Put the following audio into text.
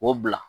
O bila